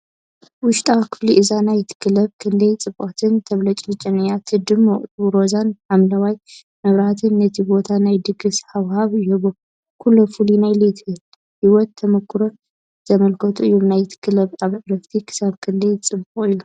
ውሽጣዊ ክፍሊ እዛ ናይት ክለብ ክንደይ ጽብቕትን ተብለጭልጭን እያ! እቲ ድሙቕ ሮዛን ሐምላይን መብራህቲ ነቲ ቦታ ናይ ድግስ ሃዋህው ይህቦ። ኩሎም ፍሉይ ናይ ለይቲ ህይወት ተመኩሮ ዘመልክቱ እዮም። ናይት ክለብ ኣብ ዕረፍቲ ክሳብ ክንደይ ጽዑቕ እዩ?